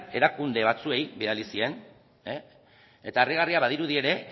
erakunde batzuei bidali zien eta harrigarria badirudi ere